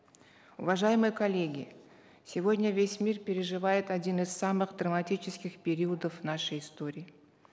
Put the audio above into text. уважаемые коллеги сегодня весь мир переживает один из самых драматических периодов нашей истории